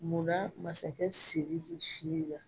Muna masakɛ sidiki fiye na